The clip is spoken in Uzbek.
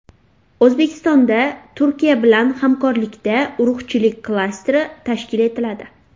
O‘zbekistonda Turkiya bilan hamkorlikda urug‘chilik klasteri tashkil etiladi.